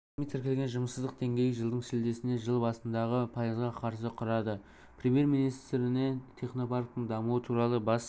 ресми тіркелген жұмыссыздық деңгейі жылдың шілдесіне жыл басындағы пайызға қарсы құрады премьер-министріне технопарктің дамуы туралы бас